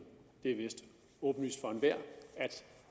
det er vist åbenlyst for enhver